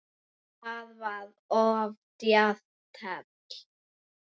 Það var of djarft teflt.